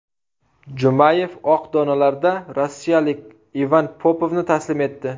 Jumayev oq donalarda rossiyalik Ivan Popovni taslim etdi.